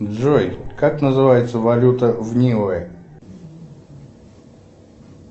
джой как называется валюта в ниуэ